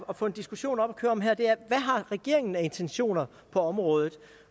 at få en diskussion op at køre om her er hvad har regeringen af intentioner på området